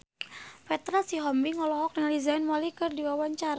Petra Sihombing olohok ningali Zayn Malik keur diwawancara